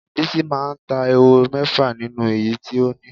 Bisi máa ta ehoro mé̩fà nínú èyí tí ó ní.